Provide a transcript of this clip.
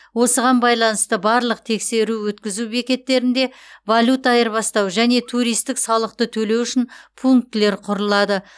осыған байланысты барлық тексеру өткізу бекеттерінде валюта айырбастау және туристік салықты төлеу үшін пунктілер құрылады